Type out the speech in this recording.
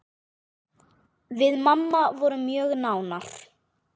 Við mamma vorum mjög nánar.